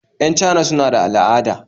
Yan Chana suna da al'ada